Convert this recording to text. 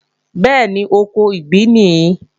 Bẹ́ẹ̀ni, oko ìgbín nìí